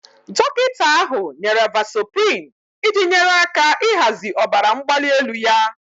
Dọkịta ahụ nyere vasoprin iji nyere aka ịhazi ọbara mgbali elu ya